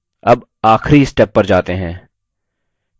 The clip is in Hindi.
अब आखिरी step पर जाते हैं